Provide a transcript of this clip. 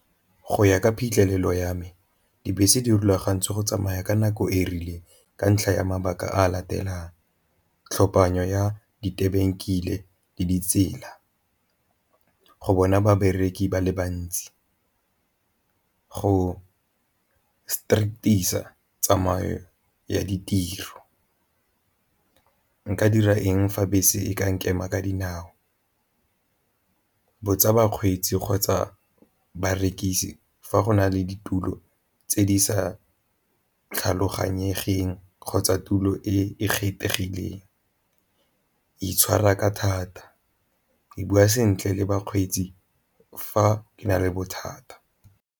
Go ya ka phitlhelelo ya me dibese di rulagantswe go tsamaya ka nako e rileng ka ntlha ya mabaka a latelang tlhophanyo ya le ditsela, go bona babereki ba le bantsi, go tsamayo ya ditiro. Nka dira eng fa bese e ka nkema ka dinao? Botsa bakgweetsi kgotsa barekisi fa go na le ditulo tse di sa tlhaloganyegeng kgotsa tulo e e kgethegileng, itshwara ka thata, ke bua sentle le bakgweetsi fa ke na le bothata.